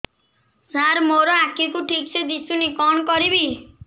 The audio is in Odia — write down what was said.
ସାର ମୋର ଆଖି କୁ ଠିକସେ ଦିଶୁନି କଣ କରିବି